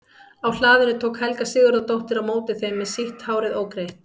Á hlaðinu tók Helga Sigurðardóttir á móti þeim með sítt hárið ógreitt.